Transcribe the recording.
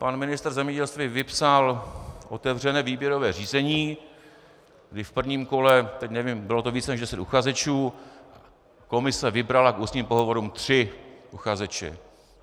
Pan ministr zemědělství vypsal otevřené výběrové řízení, kdy v prvním kole, teď nevím, bylo to více než deset uchazečů, komise vybrala k ústním pohovorům tři uchazeče.